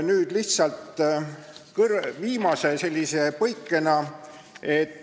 Nüüd lihtsalt viimane põige.